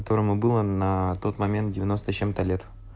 которому была на тот момент девяносто с чем-то лет